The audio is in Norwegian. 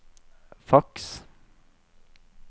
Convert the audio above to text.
faks